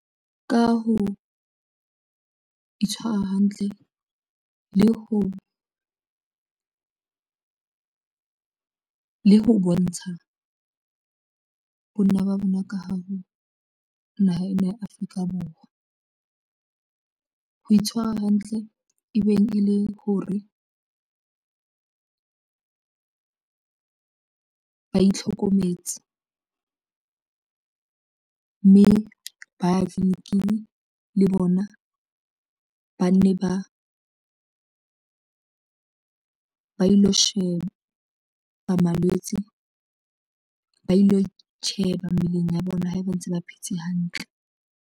Ka ho itshwara hantle le ho bontsha banna ba bona ka hare ho naha ena ya Afrika Borwa, ho itshwara hantle e beng e le ho re ba itlhokometse mme ba ya tleliniking le bona ba ne ba ilo sheba ba malwetse, ba ilo itjheba mmeleng ya bona ha ba ntse ba phetse hantle.